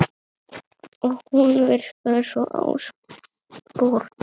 Og hún virkaði svo absúrd.